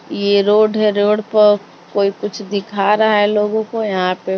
यह रोड है रोड पर कोई कुछ दिखा रहा है लोगों को यहां पे--